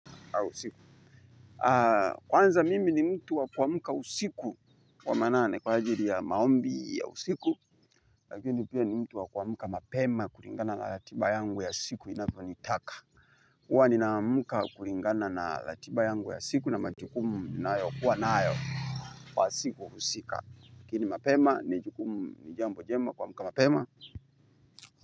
Kwanza mimi ni mtu wa kuamka usiku wa manane kwa ajili ya maombi ya usiku lakini pia ni mtu wa kuamka mapema kulingana na ratiba yangu ya siku inavyo nitaka huwa ninaamka kulingana na ratiba yangu ya siku na majukumu ninayo kuwa nayo kwa siku husika lakini mapema ni jambo jema kuamka mapema.